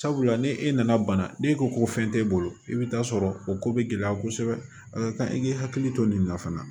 Sabula ni e nana bana n'e ko ko fɛn t'e bolo i bɛ taa sɔrɔ o ko bɛ gɛlɛya kosɛbɛ a ka kan i k'i hakili to nin na fana